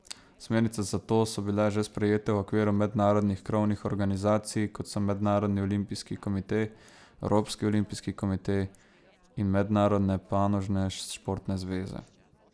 Smernice za to so bile že sprejete v okviru mednarodnih krovnih organizacij, kot so Mednarodni olimpijski komite, Evropski olimpijski komite in mednarodne panožne športne zveze.